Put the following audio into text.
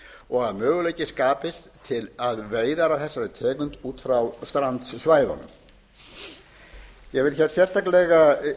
og að möguleiki skapist á veiðum af þessari tegund út frá strandsvæðunum ég vil sérstaklega